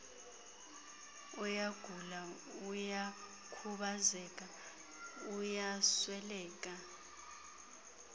uyagula uyakhubazeka uyasweleka